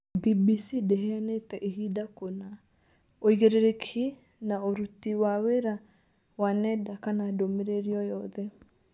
BBC ndĩheanĩte ihinda kũna, ũigĩrĩrĩki na ũrũti wa wĩra wa nenda kana ndũmĩrĩri oyothe